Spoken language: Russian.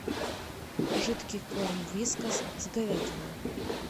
жидкий корм вискас с говядиной